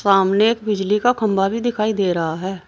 सामने बिजली का खंबा भी दिखाई दे रहा है।